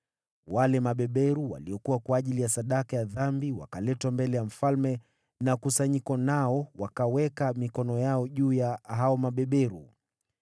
Wale mabeberu waliokuwa kwa ajili ya sadaka ya dhambi wakaletwa mbele ya mfalme na kusanyiko nao wakaweka mikono yao juu hao mabeberu.